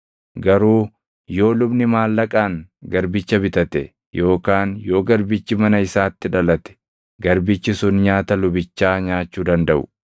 Garuu yoo lubni maallaqaan garbicha bitate, yookaan yoo garbichi mana isaatti dhalate, garbichi sun nyaata lubichaa nyaachuu dandaʼu.